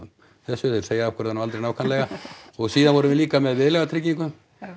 þessu þeir segja okkur það nú aldrei nákvæmlega og síðan vorum við líka með Viðlagatryggingu